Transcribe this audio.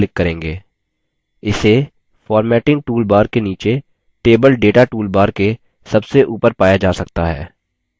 इसे formatting toolbar के नीचे table data toolbar के सबसे ऊपर पाया जा सकता है